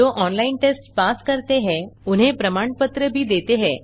जो online test pass करते हैं उन्हें प्रमाण पत्र भी देते हैं